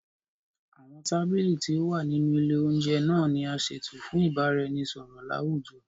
Awọn tábìlì tí o wà nínú ilè oúnjẹ naa ni a ṣeto fún ibaraẹnisọrọ lawujọ